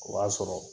O b'a sɔrɔ